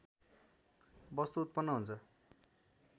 वस्तु उत्पन्न हुन्छ